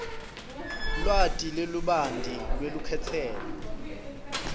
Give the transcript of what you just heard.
lwati lolubanti lwelukhetselo